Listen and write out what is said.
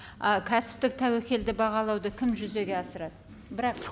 ы кәсіптік тәуекелді бағалауды кім жүзеге асырады